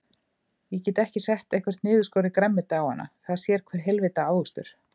Ég get ekki sett eitthvert niðurskorið grænmeti á hana, það sér hver heilvita ávöxtur.